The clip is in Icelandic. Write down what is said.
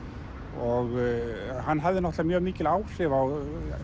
og hann hafði mikil áhrif á